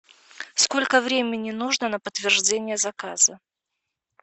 сколько времени нужно на подтверждение заказа